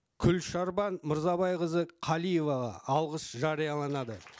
гүлшарбан мырзабайқызы қалиеваға алғыс жарияланады